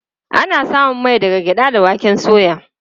Ana samun mai daga gyaɗa da waken soya.